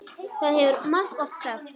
Það hefur þú margoft sagt.